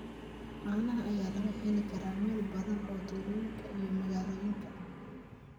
Caanaha ayaa laga heli karaa meelo badan oo tuulooyinka iyo magaalooyinka ah.